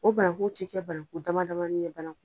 O bananku ti kɛ bananku damadama ye banan